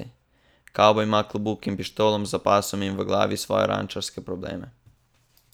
Kavboj ima klobuk in pištolo za pasom in v glavi svoje rančarske probleme.